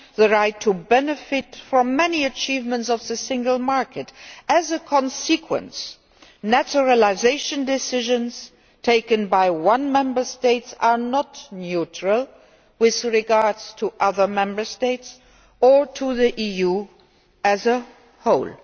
the right to benefit from the many achievements of the single market. As a consequence, naturalisation decisions taken by one Member State are not neutral with regard to other Member States or to the EU as a whole.